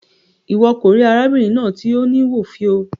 Iwọ ko ri arábìnrin náà ti o ni wo fiọ.